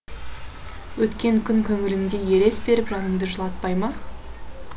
өткен күн көңіліңде елес беріп жаныңды жылатпай ма